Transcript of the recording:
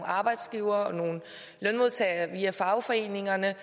arbejdsgivere og nogle lønmodtagere via fagforeningerne